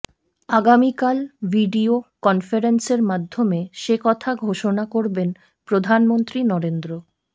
আগামিকাল ভিডিয়ো কনফারেন্সের মাধ্যমে সেকথা ঘোষণা করবেন প্রধানমন্ত্রী নরেন্দ্র